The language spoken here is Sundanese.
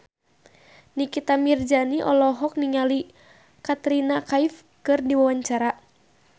Nikita Mirzani olohok ningali Katrina Kaif keur diwawancara